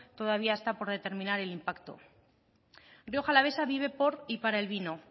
todavía está por determinar el impacto rioja alavesa vive por y para el vino